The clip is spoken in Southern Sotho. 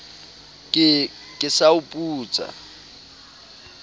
ke ke sa o putsa